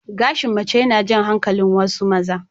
Gashi mace yana jan hankalin wasu maza.